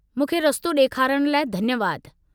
मूंखे रस्तो ॾेखारण लाइ धन्यवाद।